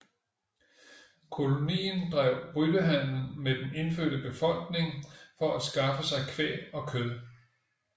Kolonien drev byttehandel med den indfødte befolkningen for at skaffe sig kvæg og kød